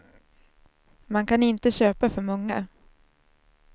Man kan inte köpa för många.